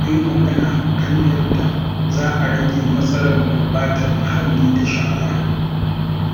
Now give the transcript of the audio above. Za mu yi magana kan yadda za a rage matsalar gurbatar muhalli da shara.